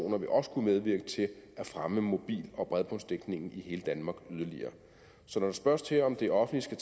vil også kunne medvirke til at fremme mobil og bredbåndsdækningen i hele danmark yderligere så når der spørges til om det offentlige